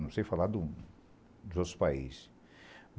Não sei falar de outros países.